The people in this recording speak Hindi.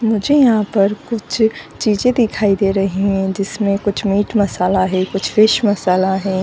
मुझे यहापर कुछ चीज़े दिखाई दे रही है जिसमे कुछ मीट मसाला है कुछ फिश मसाला है।